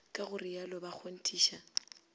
ka go rialo ba kgonthiša